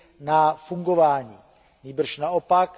na fungování, nýbrž naopak.